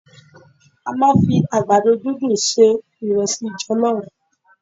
A máa ń fi àgbàdo dúndùn se ìresí jọ̀lọ́fù.